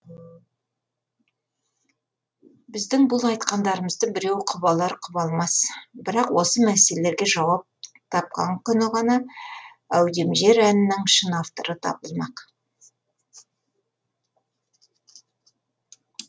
біздің бұл айтқандарымызды біреу құп алар құп алмас бірақ осы мәселелерге жауап тапқан күні ғана әудемжер әнінің шын авторы табылмақ